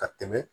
Ka tɛmɛ